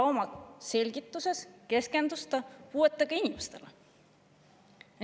Oma selgituses keskendus ta puuetega inimestele.